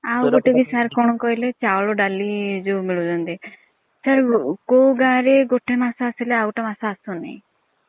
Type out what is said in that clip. ଆଉ ଗୋଟେ ବି sir କଣ କହିଲେ ଚାଉଳ ଡାଲି ଯୋଉ ମିଲୁଛନ୍ତି କୋଉ ଗାଁ ରେ ଗୋଟେ ମାସ ଆସିଲେ ଆଉ ଗୋଟେ ମାସ ଆସୁନି।